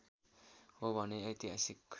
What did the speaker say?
हो भने ऐतिहासिक